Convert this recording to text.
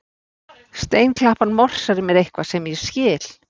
Steinklappan morsar mér eitthvað sem ég skil